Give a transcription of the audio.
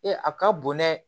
Ee a ka bon dɛ